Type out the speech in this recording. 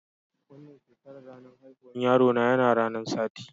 Wanan shekaran, ranan haihuwan yaro na yana ranan Sati.